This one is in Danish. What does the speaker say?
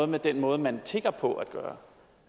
med den måde man tigger på